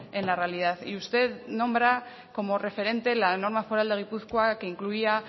en la realidad y usted nombra como referente la norma foral de gipuzkoa que incluía